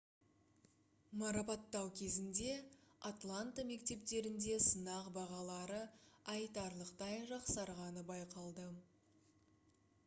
марапаттау кезінде атланта мектептерінде сынақ бағалары айтарлықтай жақсарғаны байқалды